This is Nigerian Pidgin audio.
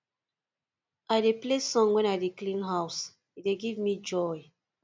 i dey play song wen i dey clean house e dey give me joy